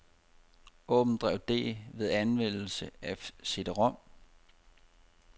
Åbn drev D ved anvendelse af cd-rom.